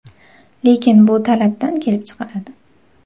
Lekin bu talabdan kelib chiqiladi.